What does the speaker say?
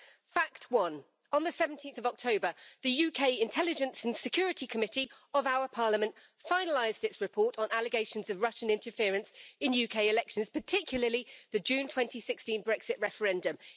Fact one on 17 October, the UK Intelligence and Security Committee of our Parliament finalised its report on allegations of Russian interference in UK elections, particularly the June 2016 Brexit referendum.